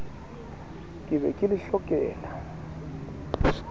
ke be ke le hlokela